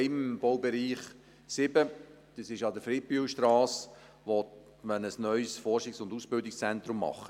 Im Baubereich 07 an der Friedbühlstrasse will man ein neues Forschungs- und Ausbildungszentrum schaffen.